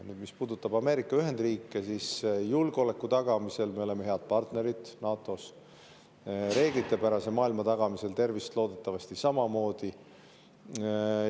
Nüüd, mis puudutab Ameerika Ühendriike, siis julgeoleku tagamisel me oleme head partnerid NATO-s, reeglitepärase maailma tagamisel loodetavasti samamoodi.